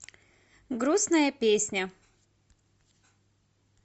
грустная песня